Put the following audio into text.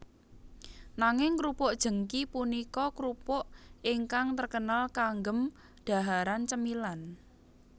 Nanging krupuk jengki punika krupuk ingkang terkenal kanggem dhaharan cemilan